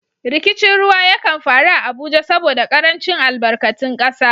Rikicin ruwa ya kan faru a Abuja saboda karancin albarkatun kasa.